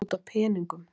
Það var út af peningum.